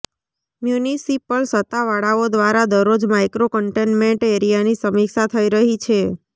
municipal સત્તાવાળાઓ દ્વારા દરરોજ માઇક્રો કન્ટેન્મેન્ટ એરિયાની સમીક્ષા થઇ રહી છે